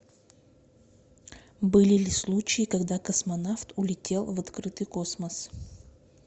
были ли случаи когда космонавт улетел в открытый космос